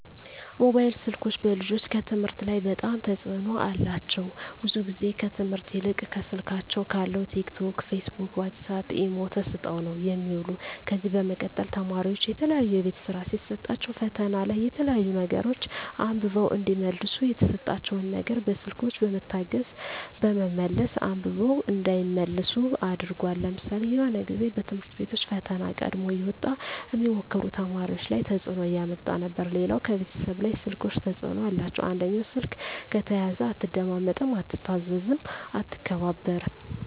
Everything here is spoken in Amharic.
ሞባይል ስልኮች በልጆች ከትምህርት ላይ በጣም ተጽዕኖ አላቸው ብዙ ግዜ ከትምህርት ይልቅ ከስልካቸው ካለው ቲክ ቶክ ፊስቡክ ዋሳፕ ኢሞ ተሰጠው ነው የሚውሉ ከዚ በመቀጠል ተማሪዎች የተለያዩ የቤት ስራ ሲሰጣቸዉ ፈተና ላይ የተለያዩ ነገሮች አንብበው እዲመልሱ የተሰጣቸው ነገር በስልኮች በመታገዝ በመመለስ አንብበው እንዳይመልሱ አድርጓል ለምሳሌ የሆነ ግዜ በትምህርት ቤቶች ፈተና ቀድሞ እየወጣ ሚሞክሩ ተማሪዎች ላይ ተጽዕኖ እያመጣ ነበር ሌላው ከቤተሰብ ላይ ስልኮች ተጽዕኖ አላቸው አንደኛው ስልክ ከተያዘ አትደማመጥም አትታዘዝም አትከባበርም